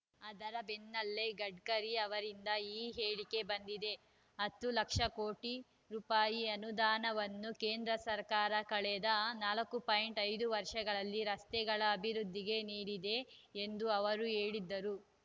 ಅದರ ಬೆನ್ನಲ್ಲೇ ಗಡ್ಕರಿ ಅವರಿಂದ ಈ ಹೇಳಿಕೆ ಬಂದಿದೆ ಹತ್ತು ಲಕ್ಷ ಕೋಟಿ ರುಪಾಯಿ ಅನುದಾನವನ್ನು ಕೇಂದ್ರ ಸರ್ಕಾರ ಕಳೆದ ನಾಲ್ಕುಪಾಯಿಂಟ್ ಐದು ವರ್ಷಗಳಲ್ಲಿ ರಸ್ತೆಗಳ ಅಭಿವೃದ್ಧಿಗೆ ನೀಡಿದೆ ಎಂದೂ ಅವರು ಹೇಳಿದರು